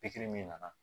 Pikiri min nana